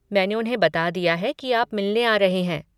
मैंने उन्हें बता दिया है कि आप मिलने आ रहे हैं।